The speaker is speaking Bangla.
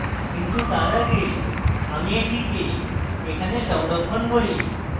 কিন্তু তার আগে আমি এটিকে এখানে সংরক্ষণ করি